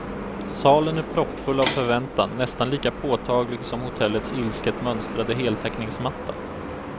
Salen är proppfull av förväntan, nästan lika påtaglig som hotellets ilsket mönstrade heltäckningsmatta.